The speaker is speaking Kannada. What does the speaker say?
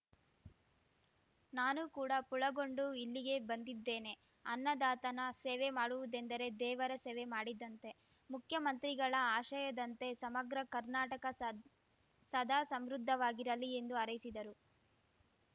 ನಾನು ಕೂಡ ಪುಳಗೊಂಡು ಇಲ್ಲಿಗೆ ಬಂದಿದ್ದೇನೆ ಅನ್ನದಾತನ ಸೇವೆ ಮಾಡುವುದೆಂದರೆ ದೇವರ ಸೇವೆ ಮಾಡಿದಂತೆ ಮುಖ್ಯಮಂತ್ರಿಗಳ ಆಶಯದಂತೆ ಸಮಗ್ರ ಕರ್ನಾಟಕ ಸದ್ ಸದಾ ಸಂಮೃದ್ಧವಾಗಿರಲಿ ಎಂದು ಹಾರೈಸಿದರು